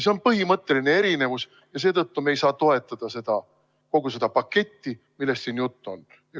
See on põhimõtteline erinevus ja seetõttu me ei saa toetada kogu seda paketti, millest siin juttu on.